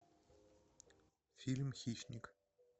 фильм хищник